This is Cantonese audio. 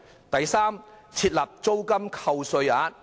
第三，設立租金扣稅額。